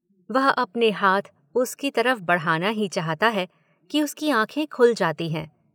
वह अपने हाथ उसकी तरफ़ बढ़ाना ही चाहता है कि उसकी आँखें खुल जाती हैं।